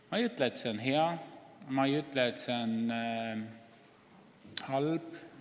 Ma ei ütle, et see palk on hea, aga ma ei ütle ka, et see on halb.